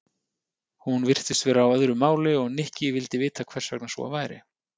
Hún virtist vera á öðru máli og Nikki vildi vita hvers vegna svo væri.